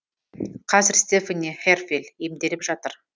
қазір стефани херфель емделіп жатыр